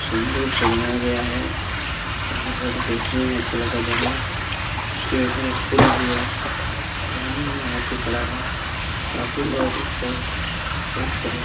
सिंदूर से रंगा गया है और ये बहुत देखने में अच्छा लग रहा है जानवर उसके ऊपर एक पुल भी है पानी में हाथी खड़ा है और काफी लोग इसको देख--